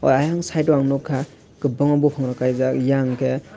ayang side o ang nogkha kobangma bopong rok kaijak eyang hingke.